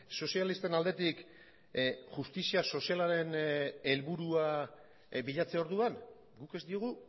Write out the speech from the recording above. sozialisten aldetik justizia sozialaren helburua bilatze orduan guk ez diogu